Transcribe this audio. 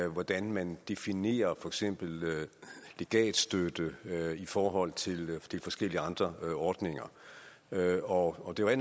og hvordan man definerer for eksempel legatstøtte i forhold til forskellige andre ordninger og og det